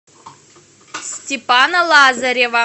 степана лазарева